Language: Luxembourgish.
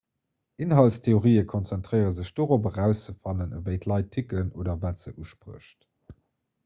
inhaltstheorien konzentréiere sech dorop erauszefannen wéi d'leit ticken oder wat se usprécht